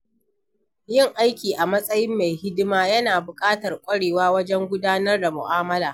Yin aiki a matsayin mai hidima yana buƙatar ƙwarewa wajen gudanar da mu’amala.